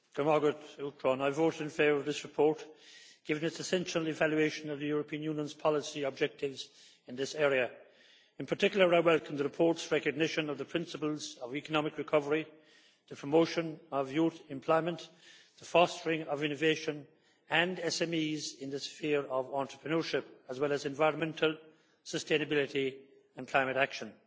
Madam President, I voted in favour of this report, given its essential evaluation of the European Union's policy objectives in this area. In particular, I welcome the report's recognition of the principles of economic recovery, the promotion of youth employment, the fostering of innovation and SMEs in the sphere of entrepreneurship, and environmental sustainability and climate action.